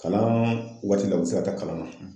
Kalan waati la u bɛ se ka taa kalan na.